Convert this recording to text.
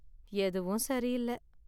எதுவும் சரியில்ல.